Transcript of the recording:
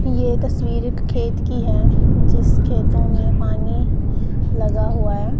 यह तस्वीर एक खेत की है जिस खेतों में पानी लगा हुआ है।